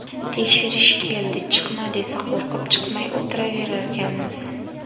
Tekshirish keldi, chiqma, desa qo‘rqib chiqmay o‘tiraverganmiz.